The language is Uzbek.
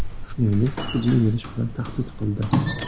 Shuningdek, sudga berish bilan tahdid qildi.